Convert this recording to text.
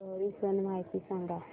लोहरी सण माहिती सांगा